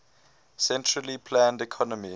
centrally planned economy